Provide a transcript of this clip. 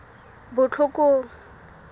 botlhokong